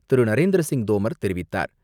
நரேந்திரசிங் தோமர் தெரிவித்தார்.